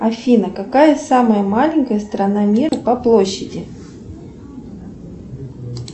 афина какая самая маленькая страна мира по площади